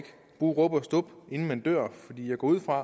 bruge rub og stub inden man dør jeg går ud fra at